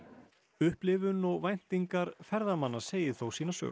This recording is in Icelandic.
upplifun og væntingar ferðamanna segi þó sína sögu